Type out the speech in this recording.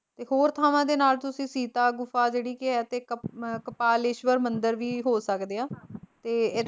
ਇਕ ਹੋਰ ਥਾਵਾਂ ਦੇ ਨਾਲ ਤੁਸੀ ਸੀਤਾ ਗੁਫਾ ਜਿਹੜੀ ਕੇ ਆਈ ਤੇ ਕੱਪ ਕਪਾਲੇਸ਼ਵਰ ਮੰਦਿਰ ਵੀ ਹੋ ਸਕਦੇ ਆ, ਤੇ